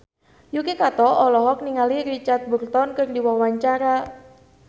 Yuki Kato olohok ningali Richard Burton keur diwawancara